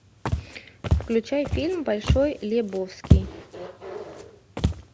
включай фильм большой лебовски